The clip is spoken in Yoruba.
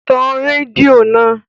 Tan rédíò náà!